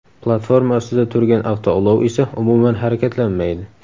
Platforma ustida turgan avtoulov esa umuman harakatlanmaydi.